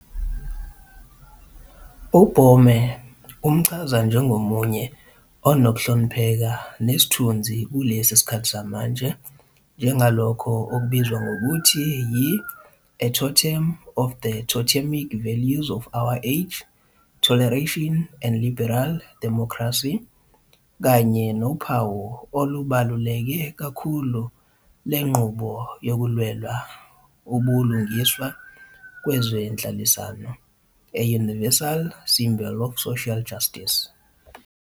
UBoehmer umchaza njengomunye unokuhlonipheka nesithunzi kulesi sikhathi samanje njengalokho okubizwa ngokuthi yi-"a totem of the totemic values of our age- toleration and liberal democracy", kanye nophawu olubaluleke kakhulu lenqubo yokulwela ubuhlungiswa kwezenhlalisano, "a universal symbol of social justice".